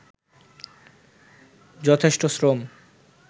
যথেষ্ট শ্রম